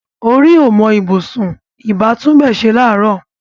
Orí ò mọ ibùsùn; ìbá tún ibẹ̀ ṣe láàárọ̀